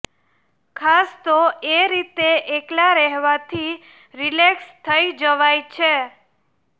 ખાસ તો એ રીતે એકલા રહેવાથી રિલેક્સ થઇ જવાય છે